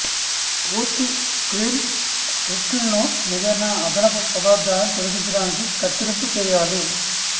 పూర్తి స్క్రీన్ స్క్రీన్స్హిట్లు ఏదైనా అదనపు పదార్థాన్ని తొలగించడానికి కత్తిరింపు చేయాలి